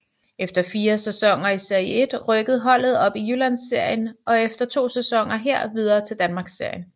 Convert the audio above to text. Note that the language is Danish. Efter fire sæsoner i Serie 1 rykkede holdet op i Jyllandsserien og efter to sæsoner her videre til Danmarksserien